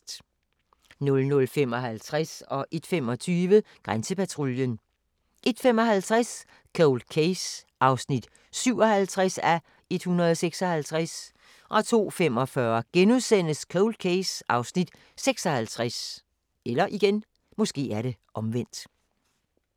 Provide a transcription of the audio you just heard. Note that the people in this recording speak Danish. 00:55: Grænsepatruljen 01:25: Grænsepatruljen 01:55: Cold Case (57:156) 02:45: Cold Case (56:156)*